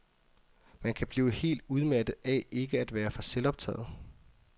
Man kan blive helt udmattet af ikke at være for selvoptaget.